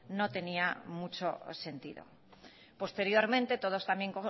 no tenía mucho sentido posteriormente todos también